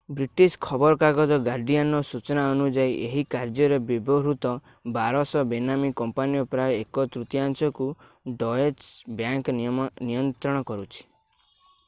British ଖବରକାଗଜ ଗାର୍ଡିଆନର ସୂଚନା ଅନୁଯାୟୀ ଏହି କାର୍ଯ୍ୟରେ ବ୍ୟବହୃତ 1200 ବେନାମୀ କମ୍ପାନୀର ପ୍ରାୟ ଏକ ତୃତୀୟାଂଶକୁ ଡଏଚ ବ୍ୟାଙ୍କ ନିୟନ୍ତ୍ରଣ କରୁଛି